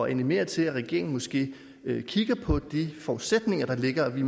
at animere til at regeringen måske kigger på de forudsætninger der ligger vi